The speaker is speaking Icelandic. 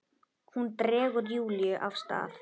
Hún dregur Júlíu af stað.